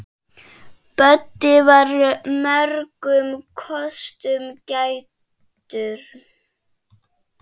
Böddi var mörgum kostum gæddur.